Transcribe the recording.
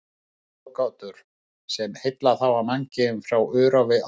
Ráðgátur, sem heillað hafa mannkynið frá örófi alda.